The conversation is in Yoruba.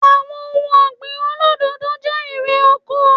Àwọn ohun ọ̀gbìn olódòdó jẹ́ erè oko